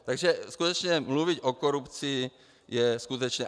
Takže skutečně mluvit o korupci je skutečně...